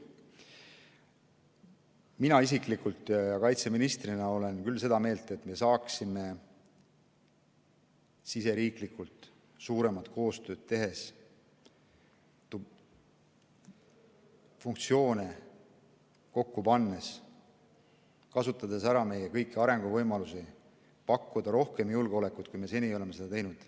Mina isiklikult kaitseministrina olen küll seda meelt, et me saaksime siseriiklikult suuremat koostööd tehes, funktsioone kokku pannes ja kõiki arenguvõimalusi ära kasutades pakkuda paremat julgeolekut, kui me seni oleme teinud.